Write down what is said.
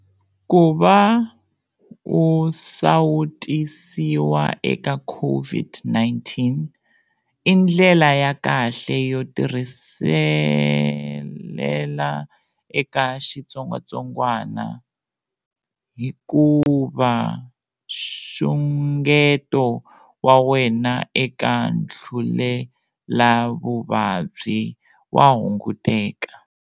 Ku va u sawutisiwa eka COVID-19 i ndlela ya kahle yo tirhiselela eka xitsongwatsongwana hikuva nxungeto wa wena eka ntlulelavuvabyi wa hunguteka.